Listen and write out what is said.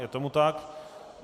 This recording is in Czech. Je tomu tak.